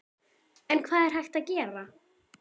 En hvað er hægt að gera?